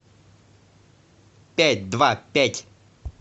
пять два пять